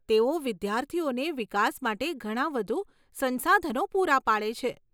તેઓ વિદ્યાર્થીઓને વિકાસ માટે ઘણા વધુ સંસાધનો પૂરા પાડે છે.